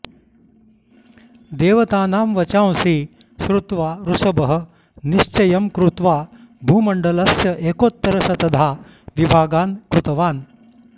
देवतानां वचांसि श्रुत्वा ऋषभः निश्चयं कृत्वा भूमण्डलस्य एकोत्तरशतधा विभागान् कृतवान्